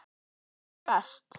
Það er best.